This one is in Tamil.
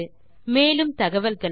மேற்கொண்டு விவரங்கள் வலைத்தளத்தில் கிடைக்கும்